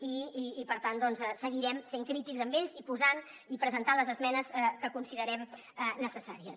i per tant seguirem sent crítics amb ells i posant i presentant les esmenes que considerem necessàries